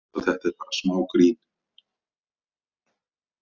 Þú veist að þetta er bara smá grín.